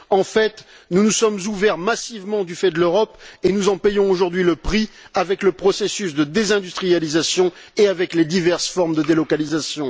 En fait, nous nous sommes ouverts massivement du fait de l'Europe et nous en payons aujourd'hui le prix avec le processus de désindustrialisation et les diverses formes de délocalisation.